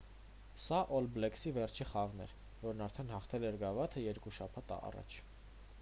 սա օլ բլեքսի վերջին խաղն էր որն արդեն հաղթել էր գավաթը երկու շաբաթ առաջ